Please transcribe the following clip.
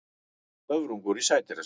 Höfrungur í sædýrasafni.